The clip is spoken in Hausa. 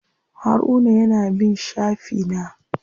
Haruna ya na bin shafi na.